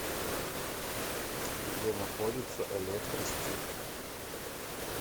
где находится электростиль